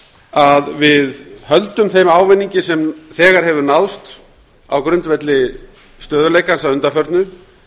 að við höldum þeim ávinningi sem þegar hefur náðst á grundvelli stöðugleikans að undanförnu